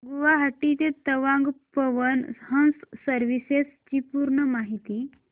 गुवाहाटी ते तवांग पवन हंस सर्विसेस ची पूर्ण माहिती